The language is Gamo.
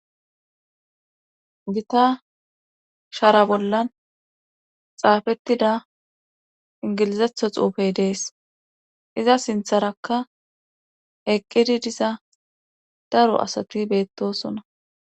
Gita shara bollan xaafettida ingilizetho xuufey dees iza sintharakka eqqidi diza daro asati beettosona.